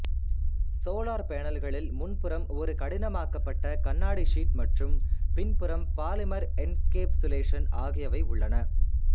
solar பேனல்களில் முன் புறம் ஒரு கடினமாக்கப்பட்ட கண்ணாடி ஷீட் மற்றும் பின் புறம் பாலிமர் என்கேப்சுலேஷன் ஆகியவை உள்ளன